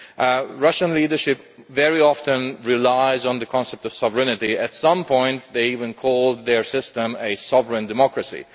The Russian leadership very often relies on the concept of sovereignty. At some point they even called their system a sovereign democracy'.